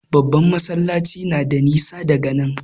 Babban masallacin na da nisa daga nan.